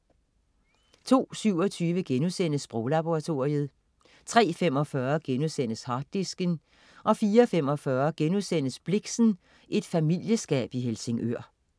02.27 Sproglaboratoriet* 03.45 Harddisken* 04.45 Blixen: Et familieselskab i Helsingør*